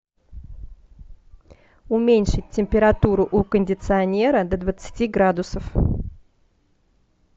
уменьшить температуру у кондиционера до двадцати градусов